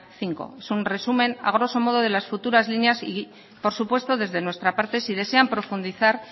cinco es un resumen a groso modo de las futuras líneas y por supuesto desde nuestra parte si desean profundizar